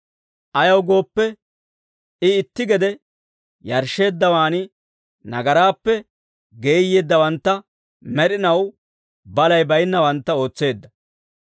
Ayaw gooppe, I itti gede yarshsheeddawaan, nagaraappe geeyyeeddawantta med'inaw balay baynnawantta ootseedda.